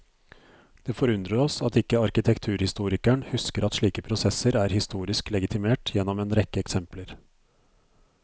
Det forundrer oss at ikke arkitekturhistorikeren husker at slike prosesser er historisk legitimert gjennom en rekke eksempler.